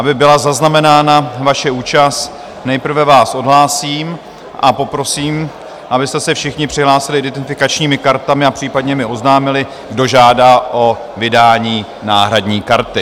Aby byla zaznamenána vaše účast, nejprve vás odhlásím a poprosím, abyste se všichni přihlásili identifikačními kartami a případně mi oznámili, kdo žádá o vydání náhradní karty.